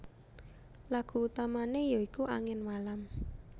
Lagu utamane ya iku Angin Malam